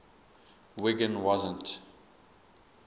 wiggin doesn t